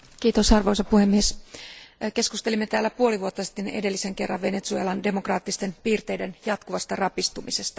Arvoisa puhemies, keskustelimme täällä puoli vuotta sitten edellisen kerran Venezuelan demokraattisten piirteiden jatkuvasta rapistumisesta.